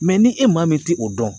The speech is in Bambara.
ni e maa min tɛ o dɔn